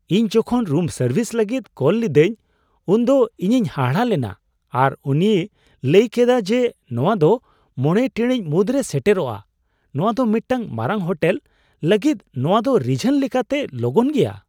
ᱤᱧ ᱡᱚᱠᱷᱚᱱ room service ᱞᱟᱹᱜᱤᱫ ᱠᱚᱞ ᱞᱤᱫᱟᱹᱧ ᱩᱱᱫᱚ ᱤᱧᱤᱧ ᱦᱟᱦᱟᱲᱟᱜ ᱞᱮᱱᱟ ᱟᱨ ᱩᱱᱤᱭ ᱞᱟᱹᱭ ᱠᱮᱫᱟ ᱡᱮ ᱱᱚᱣᱟ ᱫᱚ ᱕ ᱴᱤᱲᱤᱡ ᱢᱩᱫᱽᱨᱮ ᱥᱮᱴᱮᱨᱚᱜᱼᱟ ᱾ ᱱᱚᱶᱟ ᱫᱚ ᱢᱤᱫᱴᱟᱝ ᱢᱟᱨᱟᱝ ᱦᱳᱴᱮᱞ ᱞᱟᱹᱜᱤᱫ ᱱᱚᱣᱟᱫᱚ ᱨᱤᱡᱷᱟᱱ ᱞᱮᱠᱟᱛᱮ ᱞᱚᱜᱚᱱ ᱜᱮᱭᱟ ᱾